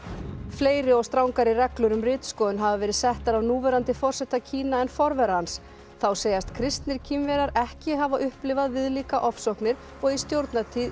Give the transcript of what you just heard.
fleiri og strangari reglur um ritskoðun hafa verið settar af núverandi forseta Kína en forvera hans þá segjast kristnir Kínverjar ekki hafa upplifað viðlíka ofsóknir og í stjórnartíð